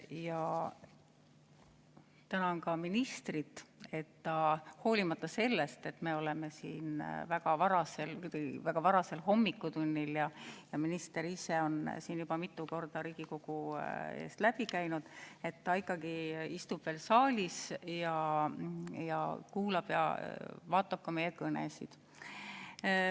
Ja tänan ka ministrit, et ta hoolimata sellest, et me oleme siin väga varasel hommikutunnil ja minister ise on siin juba mitu korda Riigikogu eest läbi käinud, ta ikkagi istub veel saalis ja kuulab ja vaatab ka meie kõnesid.